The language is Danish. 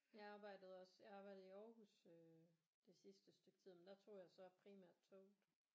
Jeg arbejdede også jeg arbejdede i Aarhus øh det sidste stykke tid men der tog jeg så primært toget